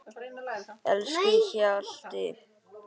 Elsku Hjalti.